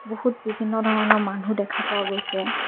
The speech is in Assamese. বহুত বিভিন্ন ধৰণৰ মানুহ দেখা পোৱা গৈছে।